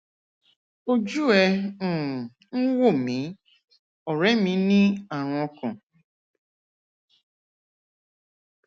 ojú ẹ um ń wò mí ọrẹ mi ní àrùn ọkàn